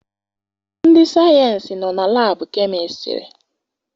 Ndị sayensị nọ na labu chemistiry.